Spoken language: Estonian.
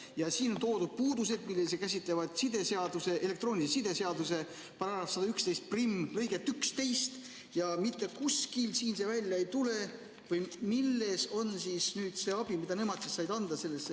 Ja siin on toodud puudused, mis käsitlevad elektroonilise side seaduse § 1111 lõiget 11, aga mitte kuskilt ei tule välja, millist abi nemad andsid sellega seoses.